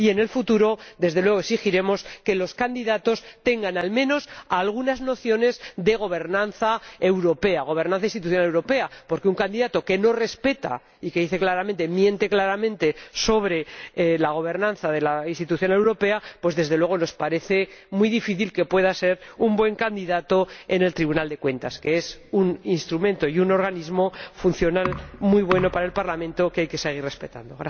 Y en el futuro exigiremos que los candidatos tengan al menos algunas nociones de gobernanza europea, gobernanza institucional europea, porque un candidato que no respeta y que miente claramente sobre la gobernanza de la institución europea, pues nos parece muy difícil que pueda ser un buen candidato para el Tribunal de Cuentas, que es un instrumento y un organismo funcional muy bueno para el Parlamento, que hay que seguir respetando.